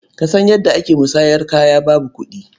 Ka san yadda ake musanyar kaya babu kuɗi?